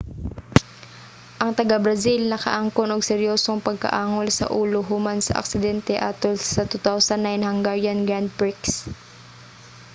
ang taga-brazil nakaangkon og seryosong pagkaangol sa ulo human sa aksidente atol sa 2009 hungarian grand prix